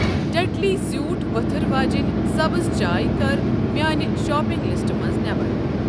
ٹٮ۪ٹلی زیوٗٹھ ؤتھرو اجٮ۪من سبٕز چاے کَر میانہِ شاپنگ لسٹہٕ منٛز نٮ۪بر۔